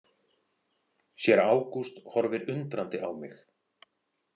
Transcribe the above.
Séra Ágúst horfir undrandi á mig.